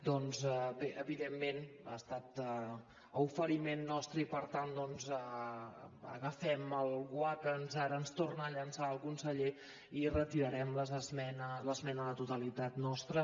doncs bé evidentment ha estat a oferiment nostre i per tant agafem el guant que ara ens torna a llançar el conseller i retirarem l’esmena a la totalitat nostra